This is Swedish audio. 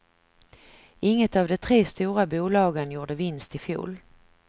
Inget av de tre stora bolagen gjorde vinst i fjol.